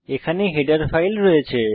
এখানে header file রয়েছে